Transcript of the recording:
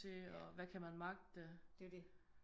Ja det er jo det